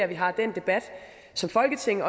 vi har den debat som folketing